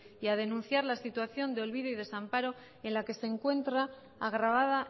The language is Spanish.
y a denunciar la situación de olvido y desamparo en la que se encuentra agravada